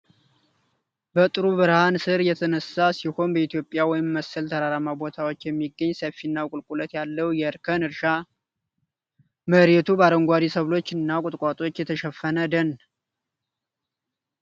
በጥሩ ብርሃን ሥር የተነሳ ሲሆን በኢትዮጵያ ወይም መሰል ተራራማ ቦታዎች የሚገኝ ሰፊና ቁልቁለት ያለው የእርከን እርሻ። መሬቱ በአረንጓዴ ሰብሎችና ቁጥቋጦዎች የተሸፈነ ደን።